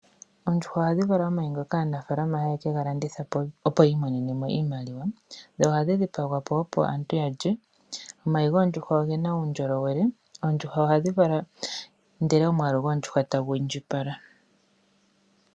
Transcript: Oondjuhwa ohandhi vala omayi ngoka aanafaalama haya kalanditha opo yi imonene iimaliwa, ndho ohandhi dhipagwa po opo aantu yalye. Omayi goondjuhwa ogena uundjolowele. Oondjuhwa ohandhi vala ndele omwaalu goondjuhwa tagu indjipala.